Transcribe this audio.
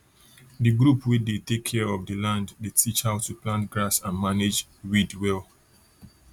the group wey dey take care of the land dey teach how to plant grass and manage weed well